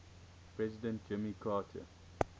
president jimmy carter